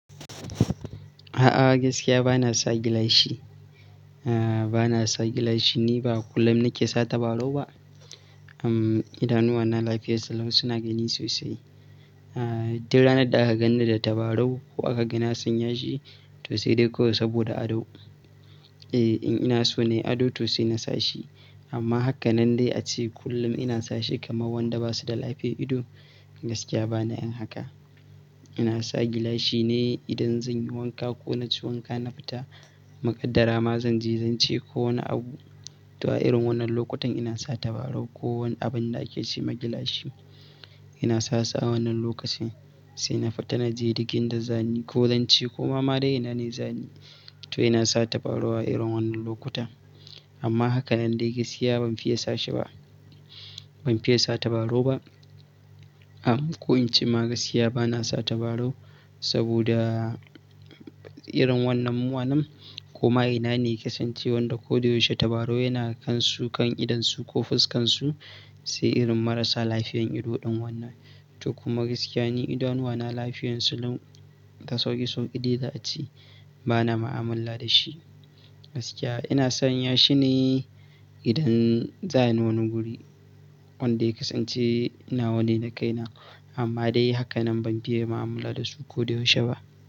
A'a, gaskiya ba na sa gilashi. Aaa, ba na sa gilashi ne ba kullum nake sa tabarau ba. Uhm, idanuwana lafiyar su lau suna gani sosai. Aaa, idan ranar da aka ganni da tabarau ko aka ga na sanya shi to sai dai ko saboda ado. Eh, in ina so nai ado to sai na sa shi amma haka nan dai a ce kullum ina sa shi kamar wanda ba su da lafiyar ido gaskiya bana yin haka. Ina sa gilashi ne idan zan yi wanka ko na ci wanka na fita. Muƙaddara ma zan je, zan ce ko wani abu. To a irin wannan lokutan ina sa tabarau ko wani abun da ake ce ma gilashi. Ina sa su awannan lokacin sai na fita na je dik in da zani ko zanci ko ma dai ina ne zani. To ina sa tabarau a irin wannan lokuta amma haka nan dai gaskiya ban fiye sa shi ba. Ban fiye sa tabarau ba. Am, ko in ce ma gaskiya ba na sa tabarau saboda irin wannan mu anan ko ma ina ne ke son ce wanda ko da yaushe tabarau yana kansu kan idonsu ko fuskan su sai irin marasa lafiyan ido ɗin wannan. To kuma gaskiya ne idanuwana lafiyansu lau da sauƙi sauƙi dai za a ce bana mu'amala da shi. Gaskiya ina sanya shi ne idan za'ayi wani guri wanda kasance ina wani na kaina amma dai haka nan ban fiye mu'amala da su ko da yaushe ba.